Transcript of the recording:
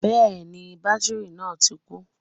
Bẹ́ẹ̀ni bátìrì náà ti kú